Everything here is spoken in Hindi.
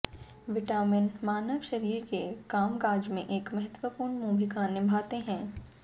विटामिन मानव शरीर के कामकाज में एक महत्वपूर्ण भूमिका निभाते हैं